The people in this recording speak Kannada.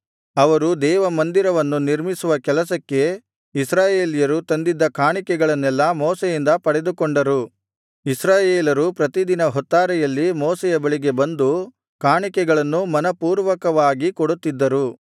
ಅವರು ದೇವಮಂದಿರವನ್ನು ನಿರ್ಮಿಸುವ ಕೆಲಸಕ್ಕೆ ಇಸ್ರಾಯೇಲ್ಯರು ತಂದಿದ್ದ ಕಾಣಿಕೆಗಳನ್ನೆಲ್ಲಾ ಮೋಶೆಯಿಂದ ಪಡೆದುಕೊಂಡರು ಇಸ್ರಾಯೇಲರು ಪ್ರತಿದಿನ ಹೊತ್ತಾರೆಯಲ್ಲಿ ಮೋಶೆಯ ಬಳಿಗೆ ಬಂದು ಕಾಣಿಕೆಗಳನ್ನು ಮನಃಪೂರ್ವಕವಾಗಿ ಕೊಡುತ್ತಿದ್ದರು